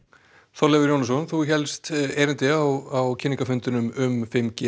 Þorleifur Jónsson þú hélst erindi á kynningarfundinum um fimm g